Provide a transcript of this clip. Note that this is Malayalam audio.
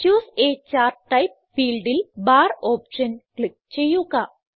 ചൂസെ a ചാർട്ട് ടൈപ്പ് ഫീൽഡിൽ ബാർ ഓപ്ഷൻ ക്ലിക്ക് ചെയ്യുക